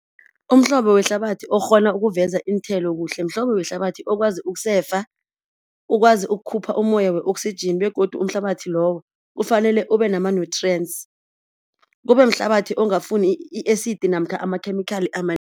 Umhlobo wehlabathi okghona ukuveza iinthelo kuhle mhlobo wehlabathi okwazi ukusefa, ukwazi ukukhupha umoya we-oxygen begodu umhlabathi lowo kufanele ube nama-nutrients, kube mhlabathi ongafuni i-acid namkha amakhemikhali